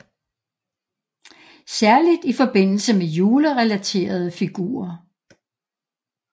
Særligt i forbindelse med julerelaterede figurer